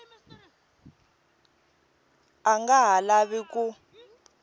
a nga ha lavi ku